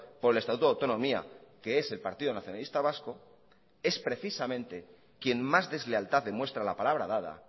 por el estatuto de autonomía que es el partido nacionalista vasco es precisamente quien más deslealtad demuestra a la palabra dada